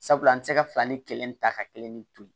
Sabula an tɛ se ka fila ni kelen ta ka kelen ni to ye